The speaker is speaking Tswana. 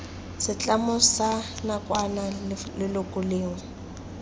setlamo sa nakwana leloko lengwe